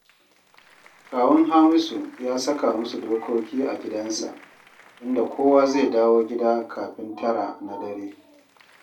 Kawun Hamisu ya saka musu dokoki a gidansa, inda kowa zai dawo gida kafin tara na dare